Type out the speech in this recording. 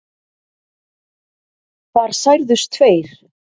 Þar særðust tveir